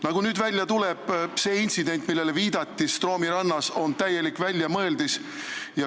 Nagu nüüd välja tuleb, see intsident Stroomi rannas, millele viidati, on täielik väljamõeldis.